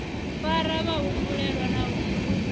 fara vhahumbulelwa na u isa